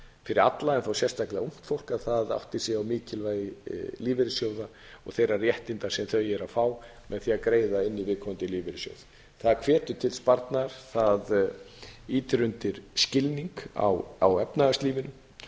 fyrir alla en þó sérstaklega ungt fólk að það átti sig á mikilvægi lífeyrissjóða og þeirra réttinda sem það fær með því að greiða inn í viðkomandi lífeyrissjóð það hvetur til sparnaðar það ýtir undir skilning á efnahagslífinu